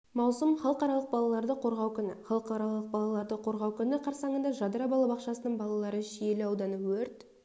маусым халықаралық балаларды қорғау күні халықаралық балаларды қорғау күні қарсаңында жадыра балабақшасының балалары шиелі ауданы өрт